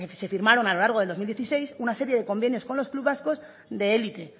se firmaron a lo largo del dos mil dieciséis una serie de convenios con los clubs vascos de élite